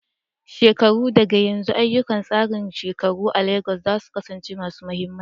Shekaru daga yanzu, ayyukan tsarin shekaru a Legas za su kasance masu mahimmanci.